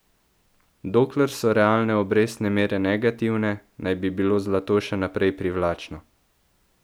Dokler so realne obrestne mere negativne, naj bi bilo zlato še naprej privlačno.